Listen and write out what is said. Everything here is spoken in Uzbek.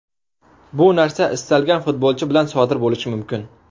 Bu narsa istalgan futbolchi bilan sodir bo‘lishi mumkin.